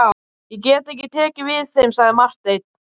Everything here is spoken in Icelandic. Ég get ekki tekið við þeim, sagði Marteinn.